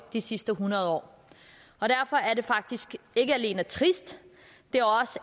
de sidste hundrede år derfor er det faktisk ikke alene trist det